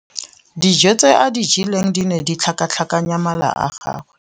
Dijô tse a di jeleng di ne di tlhakatlhakanya mala a gagwe.